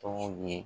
Tɔgɔ ye